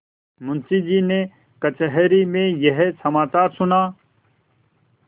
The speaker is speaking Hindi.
मुंशीजी ने कचहरी में यह समाचार सुना